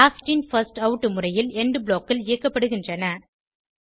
last in first out முறையில் end blockகள் இயக்கப்படுகின்றன